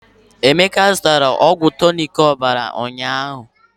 Emeka zụtara ọgwụ tọnic ọbara ụnyaahụ.